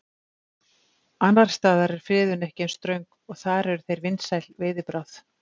Annars staðar er friðun ekki eins ströng og þar eru þeir vinsæl veiðibráð.